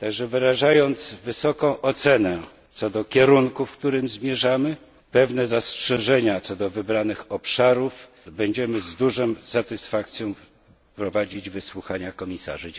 Wyrażając zatem wysoką ocenę co do kierunku, w którym zmierzamy, pewne zastrzeżenia co do wybranych obszarów, będziemy z dużą satysfakcją prowadzić wysłuchania komisarzy.